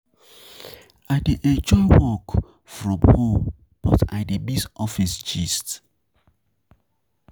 I dey enjoy work from work from home but I dey miss office gist.